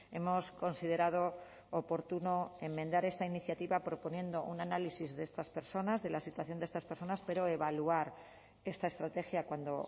hemos considerado oportuno enmendar esta iniciativa proponiendo un análisis de estas personas de la situación de estas personas pero evaluar esta estrategia cuando